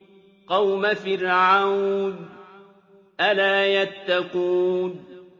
قَوْمَ فِرْعَوْنَ ۚ أَلَا يَتَّقُونَ